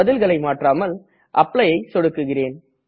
பதில்களை மாற்றாமல் Applyஐ தேர்வு சொடுக்குகிறேன்